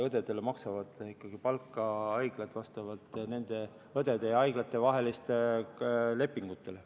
Õdedele maksavad palka ikkagi haiglad vastavalt õdede ja haiglate vahelistele lepingutele.